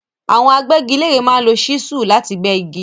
Àwọn agbẹ́gilére máa ń lo ṣísúù láti gbẹ́ igi.